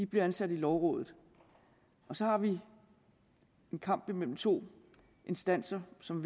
bliver ansat i lovrådet og så har vi en kamp mellem to instanser som